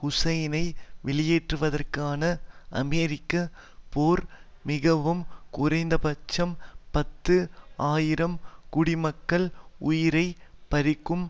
ஹூசைனை வெளியேற்றுவதற்கான அமெரிக்க போர் மிகவும் குறைந்தபட்சம் பத்து ஆயிரம் குடிமக்கள் உயிரை பறிக்கும்